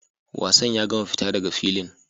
Wasan ya gama!fita daga filin!